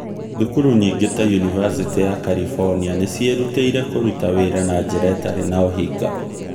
Thukuru nyingĩ ta Unibersity of California, nĩ ciĩrutĩire kũruta wĩra na njĩra ĩtarĩ na ũhinga.